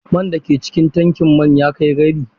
Man da ke cikin tankin man ya kai rabi.